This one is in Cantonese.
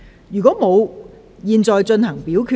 如果沒有，現在進行表決。